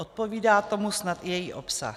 Odpovídá tomu snad i její obsah.